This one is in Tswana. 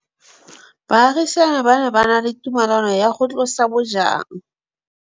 Baagisani ba ne ba na le tumalanô ya go tlosa bojang.